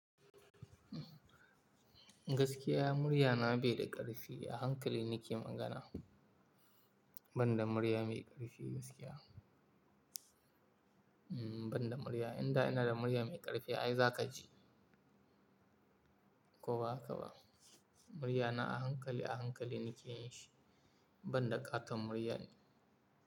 Gaskiya murya na bai da ƙarfi, a hankali nike magana, ban da murya mai ƙarfi gaskiya. Ban da murya, inda ina da murya mai ƙarfi ai za ka ji. Ko ba haka ba? Murya na a hankali, a hankali nike yi shi, ban da ƙaton murya ne.